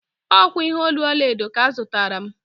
Ọ kwa ihe olu ọlaedo ka ọ zụtara m.